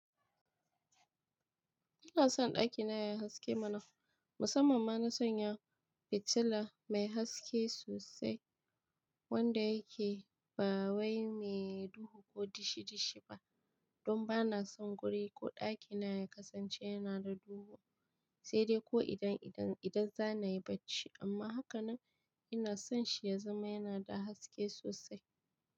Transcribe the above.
Ina son ɗakina yayi haske mana, musamman ma na sanya fitila mai haske sosai wanda yake ba wai mai duhu ko dishi dishi ba. Don ba na son guri ko ɗakina ya kasance yana da duhu, sai dai ko idan idan, idan za nayi bacci amma hakanan ina son shi ya zama yana da haske sosai.